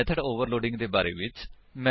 method overloading ਦੇ ਬਾਰੇ ਵਿੱਚ